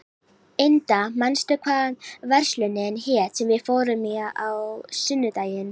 Inda, manstu hvað verslunin hét sem við fórum í á sunnudaginn?